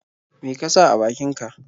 Me ka sa a bakinka?